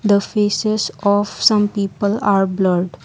the faces of some people are blurred.